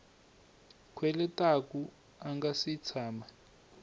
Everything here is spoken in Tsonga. kweletaku a nga si tshama